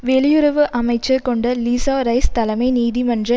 வெளியுறவு அமைச்சர் Condoleezza Rice தலைமை நீதிமன்ற